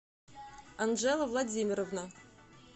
анжела владимировна